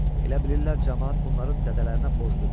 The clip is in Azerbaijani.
Elə bilirlər camaat bunların dədələrinə boşludur.